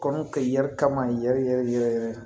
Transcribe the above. Kɔnɔ kɛ yɛrɛ kama yɛrɛ yɛrɛ yɛrɛ